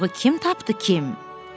Quyruğu kim tapdı, kim?